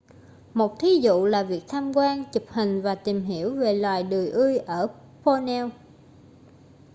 một thí dụ là việc tham quan chụp hình và tìm hiểu về loài đười ươi ở borneo